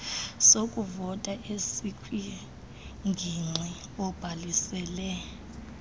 sokuvota esikwingingqi obhalisele